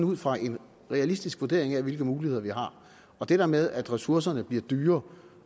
ud fra en realistisk vurdering af hvilke muligheder vi har og det der med at ressourcerne bliver dyrere